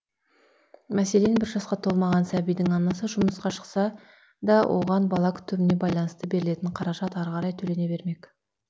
мәселен бір жасқа толмаған сәбидің анасы жұмысқа шықса да оған бала күтіміне байланысты берілетін қаражат ары қарай төлене бермек